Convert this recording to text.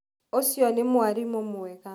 Ũcĩo nĩ mwarĩmũ mwega.